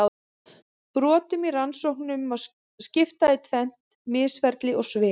Brotum í rannsóknum má skipta í tvennt: misferli og svik.